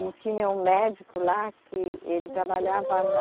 E tinha um médico lá que ele trabalhava na,